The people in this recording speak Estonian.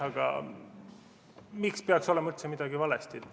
Aga miks peaks olema üldse midagi valesti?